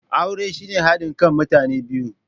Aure shine hadin kan mutane biyu.